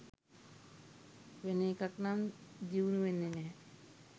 වෙන එකක් නම් දියුණු වෙන්නේ නැහැ.